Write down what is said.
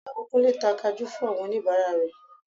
Ìyàwó Kúnlé ta Kajú fún àwọn oníbàárà rẹ̀